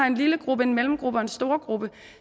en lillegruppe en mellemgruppe og en storegruppe